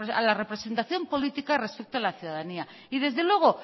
a la representación política respecto a la ciudadanía y desde luego